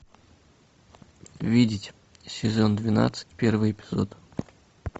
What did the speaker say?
видеть сезон двенадцать первый эпизод